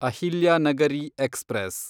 Ahilyanagari express